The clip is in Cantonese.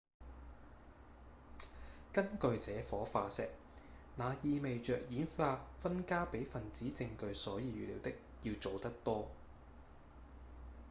「根據這顆化石那意味著演化分家比分子證據所預料的要早得多